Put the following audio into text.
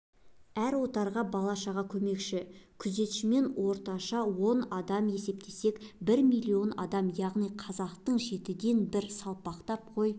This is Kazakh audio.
әр отарға бала-шаға көмекші күзетшісімен орташа он адамнан есептесек бір миллион адам яғни қазақтың жетіден бір салпақтап қой